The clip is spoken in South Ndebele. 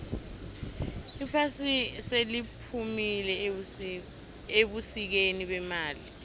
iphasi seliphumile ebusikeni bemali